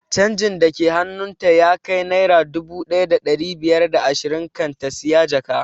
Canjin da ke hannun ta ya kai naira dubu ɗaya da ɗari biyar da ashirin kan ta siya jaka